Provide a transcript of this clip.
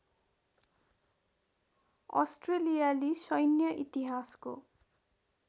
अस्ट्रेलियाली सैन्य इतिहासको